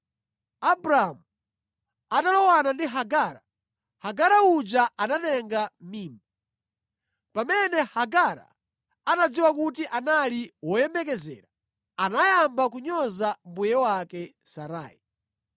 Abramu atalowana ndi Hagara, Hagara uja anatenga mimba. Pamene Hagara anadziwa kuti anali woyembekezera anayamba kunyoza mbuye wake Sarai.